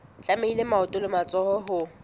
tlamehile maoto le matsoho ho